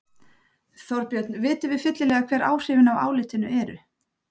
Þorbjörn, vitum við fyllilega hver áhrifin af álitinu eru?